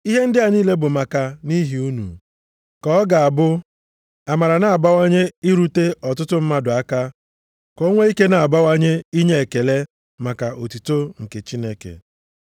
Ihe ndị a niile bụ maka nʼihi unu, ka ọ ga-abụ amara na-abawanye irute ọtụtụ mmadụ aka, ka o nwee ike na-abawanye inye ekele maka otuto nke Chineke.